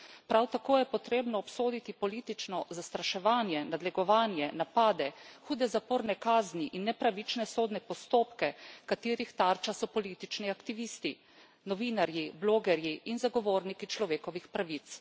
Prav tako je potrebno obsoditi politično zastraševanje, nadlegovanje, napade, hude zaporne kazni in nepravične sodne postopke, katerih tarča so politični aktivisti, novinarji, blogerji in zagovorniki človekovih pravic.